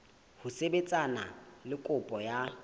ho sebetsana le kopo ya